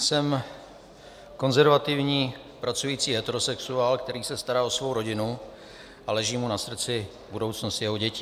Jsem konzervativní pracující heterosexuál, který se stará o svou rodinu a leží mu na srdci budoucnost jeho dětí.